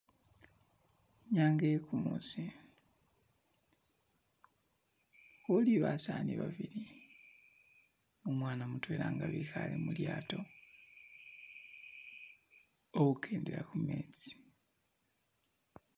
Inyanga iye kumuusi , ukhuli basaani babili ne umwana mutwela nga bikhale mulyato, bali khukendela khu metsi.